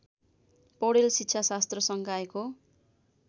पौडेल शिक्षाशास्त्र संकायको